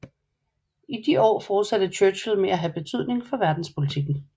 I de år fortsatte Churchill med at have betydning for verdenspolitikken